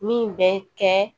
Min bɛ kɛ